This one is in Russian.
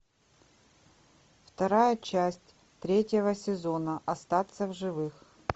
вторая часть третьего сезона остаться в живых